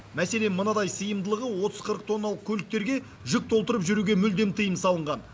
мәселен мынадай сыйымдылығы отыз қырық тонналық көліктерге жүк толтырып жүруге мүлдем тыйым салынған